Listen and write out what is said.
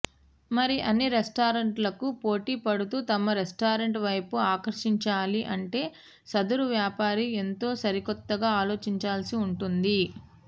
మరి అన్ని రెస్టారెంట్లకు పోటీపడుతూ తమ రెస్టారెంట్ వైపు ఆకర్షించాలి అంటే సదరు వ్యాపారి ఎంతో సరికొత్తగా ఆలోచించాల్సి ఉంటుంది